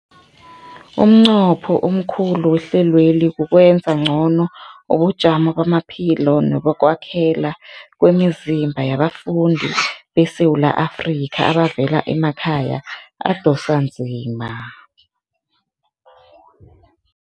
Umnqopho omkhulu wehlelweli kukwenza ngcono ubujamo bamaphilo nebokwakhela kwemizimba yabafundi beSewula Afrika abavela emakhaya adosa emhlweni.